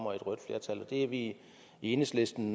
vi er i enhedslisten